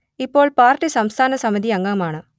ഇപ്പോൾ പാർട്ടി സംസ്ഥാന സമിതി അംഗമാണ്